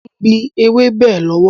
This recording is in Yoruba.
Mo ń gbìn ewébẹ̀ lọ́wọ́